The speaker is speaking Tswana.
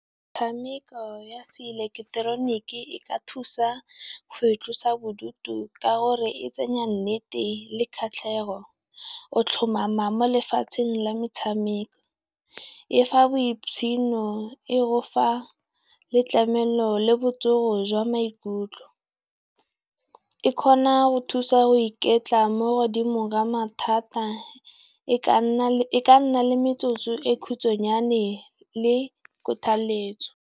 Metshameko ya se ileketeroniki e ka thusa go itlosa bodutu ka gore tsenya nnete le kgatlhego, o tlhomama mo lefatsheng la metshameko. E fa boitshidilo, e gofa le tlamelo le botsogo jwa maikutlo. E kgona go thusa go iketla mo godimo mathata, e ka nna le nna metsotso e khutsanyane le kgothaletso.